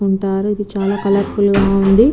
వుంటారు ఇది చాల కలౌర్ఫుల్ గ వుంది